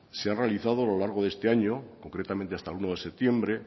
se ha realizado a lo largo de este año concretamente hasta el uno de septiembre